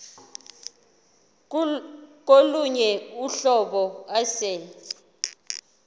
kolunye uhlobo ase